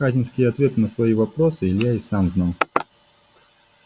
хазинские ответы на свои вопросы илья и сам знал